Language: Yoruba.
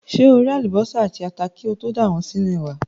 Ṣé o ré àlùbọ́sà àti ata kí o tó dà wọ́n sínú ẹ̀wà?